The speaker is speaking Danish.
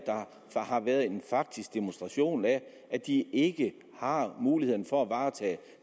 en faktisk demonstration af at de ikke har mulighed for at varetage